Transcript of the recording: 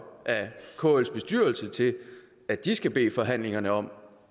af kls bestyrelse til at de skal bede forhandlerne om